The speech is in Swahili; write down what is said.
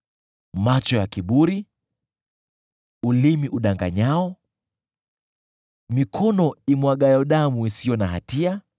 macho ya kiburi, ulimi udanganyao, mikono imwagayo damu isiyo na hatia,